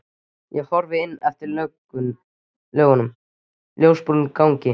Ég horfi inn eftir löngum ljósbrúnum gangi.